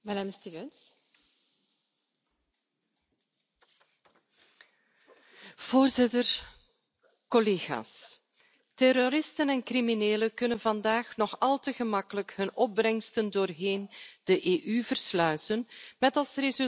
Voorzitter, collega's, terroristen en criminelen kunnen vandaag nog al te gemakkelijk hun opbrengsten door de EU versluizen, met als resultaat dat nauwelijks één procent van het misdaadgeld uit criminele handen kan worden genomen.